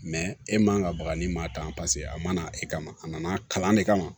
e man ka baga ni maa tan paseke a mana e kama a nana kalan de kama